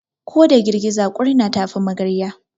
Ko da girgiza kurna ta fi magarya.